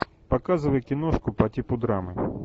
показывай киношку по типу драмы